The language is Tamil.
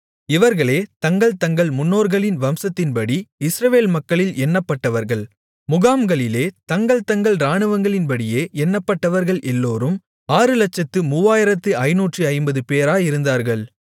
இவர்களே தங்கள் தங்கள் முன்னோர்களின் வம்சத்தின்படி இஸ்ரவேல் மக்களில் எண்ணப்பட்டவர்கள் முகாம்களிலே தங்கள் தங்கள் இராணுவங்களின்படியே எண்ணப்பட்டவர்கள் எல்லோரும் 603550 பேராயிருந்தார்கள்